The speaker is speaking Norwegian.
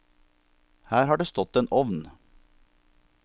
Her har det stått en ovn.